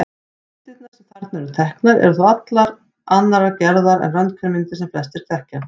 Myndirnar sem þarna eru teknar eru þó allt annarrar gerðar en röntgenmyndir sem flestir þekkja.